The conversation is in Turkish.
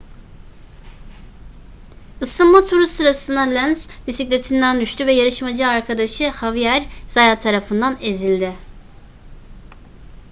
isınma turu sırasında lenz bisikletinden düştü ve yarışmacı arkadaşı xavier zayat tarafından ezildi